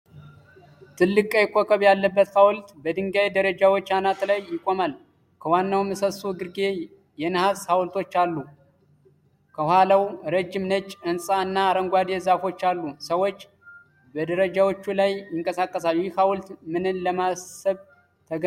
ትልቅ፣ ቀይ ኮከብ ያለበት ሀውልት በድንጋይ ደረጃዎች አናት ላይ ይቆማል። ከዋናው ምሰሶ ግርጌ የነሐስ ሐውልቶች አሉ። ከኋላው ረጅም ነጭ ሕንፃ እና አረንጓዴ ዛፎች አሉ። ሰዎች በደረጃዎቹ ላይ ይንቀሳቀሳሉ። ይህ ሀውልት ምንን ለማሰብ ተገንብቷል?